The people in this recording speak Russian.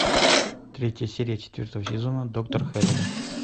третья серия четвертого сезона доктор хэрроу